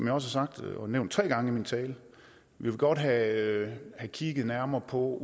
har sagt og nævnt tre gange i min tale vi vil godt have kigget nærmere på